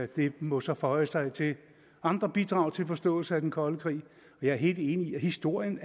det må så føje sig til andre bidrag til forståelse af den kolde krig jeg er helt enig i at historien